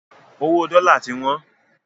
Owó dọ́la ti wọ́n